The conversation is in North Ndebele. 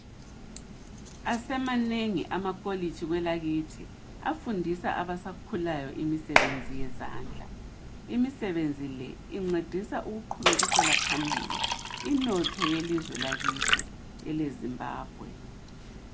Asemanengi amakolitshi kwelakithi afundisa abasakhulayo imisebenzi yezandla. Imisebenzi le incedisa ukuqhubekisela phambili inotho yelizwe lakithi eleZimbabwe